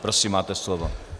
Prosím, máte slovo.